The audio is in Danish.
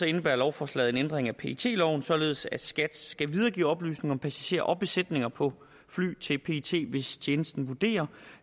indebærer lovforslaget en ændring af pet loven således at skat skal videregive oplysninger om passagerer og besætninger på fly til pet hvis tjenesten vurderer